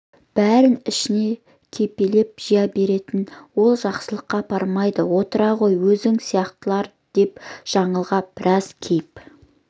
бәрін ішіне кепелеп жия беретін ол жақсылыққа апармайды отыр ғой өзің сияқтылар деп жаңылға біраз кейіп